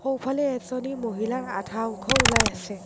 সোঁফালে এজনী মহিলাৰ আধা অংশ ওলাই আছে।